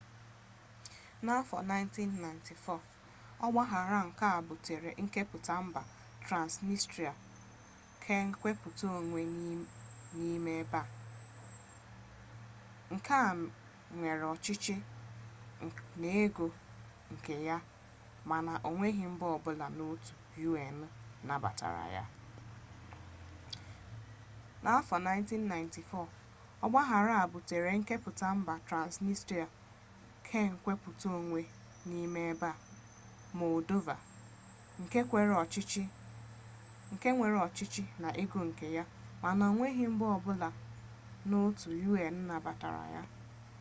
n'afọ 1994 ọgbaaghara a butere nkepụta mba transnistria kenkwupụta-onwe n'ime ebe ọwụwaanyanwụ moldova nke nwere ọchịchị na ego nke ya mana onweghi mba ọbụla so n'otu un nabatara ya